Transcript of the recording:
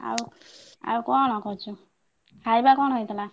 ଆଉ ଆଉ କଣ କରୁଛୁ? ଖାଇବା କଣ ହେଇଥିଲା?